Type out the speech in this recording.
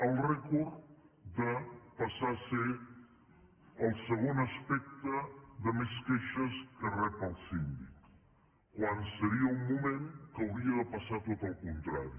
el rècord de passar a ser el segon aspecte de més queixes que rep el síndic quan seria un moment que hauria de passar tot el contrari